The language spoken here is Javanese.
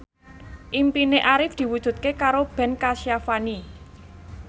impine Arif diwujudke karo Ben Kasyafani